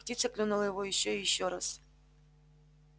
птица клюнула его ещё и ещё раз